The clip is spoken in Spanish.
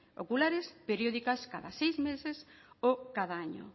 oculares periódicas cada seis meses o cada año